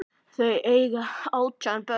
Þau eiga átján börn.